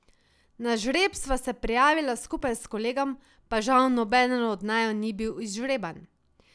Na žreb sva se prijavila skupaj s kolegom, pa žal nobeden od naju ni bil izžreban.